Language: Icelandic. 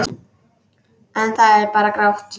En það er bara grátt.